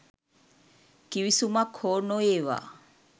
කිවිසුමක් හෝ නොඒවා.